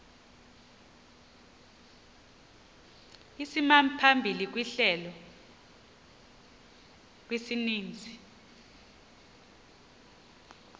isimaphambili sehlelo kwisininzi